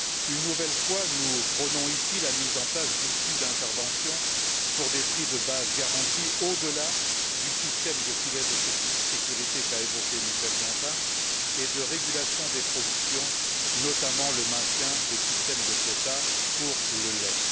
Une nouvelle fois, nous prônons ici la mise en place d'outils d'intervention pour des prix de base garantis au delà du système de filet de sécurité évoqué par Michel Dantin et de régulation des productions, notamment le maintien des systèmes des quotas pour le lait.